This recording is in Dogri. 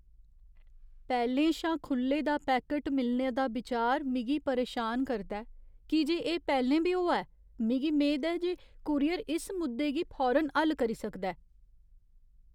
पैह्लें शा खु'ल्ले दा पैकट मिलने दा बिचार मिगी परेशान करदा ऐ की जे एह् पैह्लें बी होआ ऐ, मिगी मेद ऐ जे कूरियर इस मुद्दे गी फौरन हल करी सकदा ऐ।